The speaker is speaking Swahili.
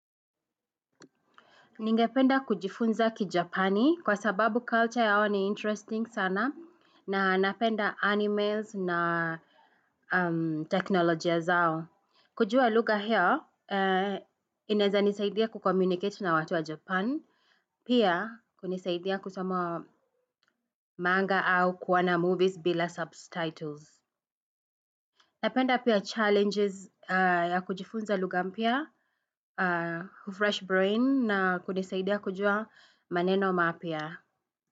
Ningependa kujifunza kiJapani kwa sababu culture yao ni interesting sana na napenda animes na teknolojia zao. Kujua lugha hio, inaweza nisaidia kucommunicate na watu wa Japan, pia kunisaidia kusomo manga au kuoana movies bila subtitles. Napenda pia challenges ya kujifunza lugha mpya, fresh brain na kunisaidia kujua maneno mapya.